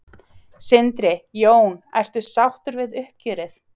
Sindri: Jón, ertu sáttu við uppgjörið?